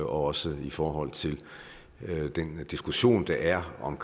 også i forhold til den diskussion der er om